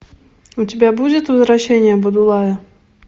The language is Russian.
у тебя будет возвращение будулая